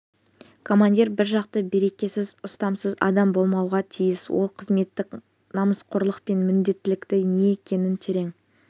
командир бір жақты берекесіз ұстамсыз адам болмауға тиіс ол қызметтік намысқорлық пен менмендіктің не екенін терең